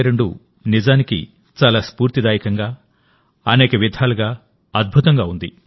2022 నిజానికి చాలా స్ఫూర్తిదాయకంగా అనేక విధాలుగా అద్భుతంగా ఉంది